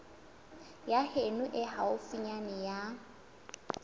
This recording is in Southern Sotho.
ya heno e haufinyana ya